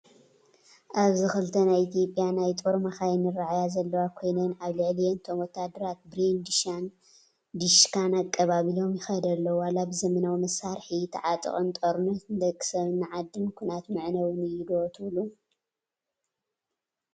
ኣብዚ ክልተ ናይ ኢ/ያ ናይ ጦር መኻይን ይራኣያ ዘለዋ ኮይነን ኣብ ልዕሊአን እቶም ወታደራት ብሬን/ዲሽካ ኣቀባቢሎም ይኸዱ ኣለው፡፡ ዋላ ብዘበናዊ መሳርሒ ተዓጠቕ ጦርነት ንደቂ ሰብን ንዓድን ኩናት መዕነዊ እዩ ዶ ትብሉ፡፡